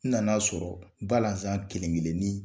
N nan'a sɔrɔ balazan kelenkelenin